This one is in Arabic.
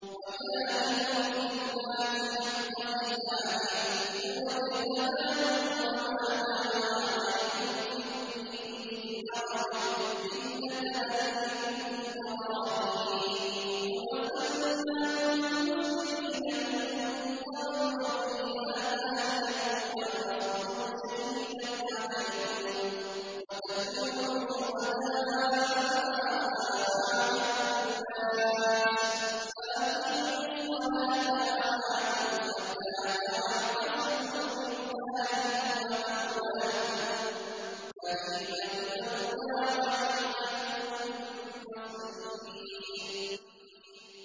وَجَاهِدُوا فِي اللَّهِ حَقَّ جِهَادِهِ ۚ هُوَ اجْتَبَاكُمْ وَمَا جَعَلَ عَلَيْكُمْ فِي الدِّينِ مِنْ حَرَجٍ ۚ مِّلَّةَ أَبِيكُمْ إِبْرَاهِيمَ ۚ هُوَ سَمَّاكُمُ الْمُسْلِمِينَ مِن قَبْلُ وَفِي هَٰذَا لِيَكُونَ الرَّسُولُ شَهِيدًا عَلَيْكُمْ وَتَكُونُوا شُهَدَاءَ عَلَى النَّاسِ ۚ فَأَقِيمُوا الصَّلَاةَ وَآتُوا الزَّكَاةَ وَاعْتَصِمُوا بِاللَّهِ هُوَ مَوْلَاكُمْ ۖ فَنِعْمَ الْمَوْلَىٰ وَنِعْمَ النَّصِيرُ